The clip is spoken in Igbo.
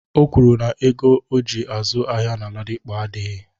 O kwuru na ego oji azụ ahịa na Ladipo adịghị.